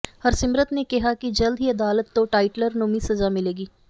ਹਰਸਿਮਰਤ ਨੇ ਕਿਹਾ ਕਿ ਜਲਦ ਹੀ ਅਦਾਲਤ ਤੋਂ ਟਾਈਟਲਰ ਨੂੰ ਵੀ ਸਜ਼ਾ ਮਿਲੇਗੀ